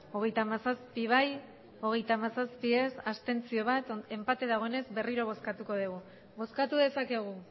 hogeita hamazazpi bai hogeita hamazazpi ez bat abstentzio enpate dagoenez berriro bozkatuko dugu bozkatu dezakegu